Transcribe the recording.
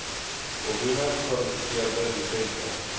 voldoende gekwalifiseerde dosente